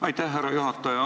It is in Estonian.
Aitäh, härra juhataja!